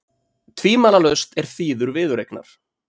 Tvímælalaust er þýður viðureignar